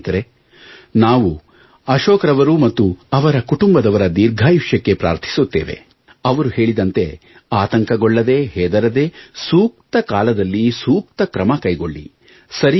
ಸ್ನೇಹಿತರೆ ನಾವು ಅಶೋಕ್ರವರು ಮತ್ತು ಅವರ ಕುಟುಂಬದವರ ದಿರ್ಘಾಯುಷ್ಯಕ್ಕೆ ಪ್ರಾರ್ಥಿಸುತ್ತೇವೆ ಅವರು ಹೇಳಿದಂತೆ ಆತಂಕಗೊಳ್ಳದೇ ಹೆದರದೇ ಸೂಕ್ತ ಕಾಲದಲ್ಲಿ ಸೂಕ್ತ ಕ್ರಮ ಕೈಗೊಳ್ಳಿ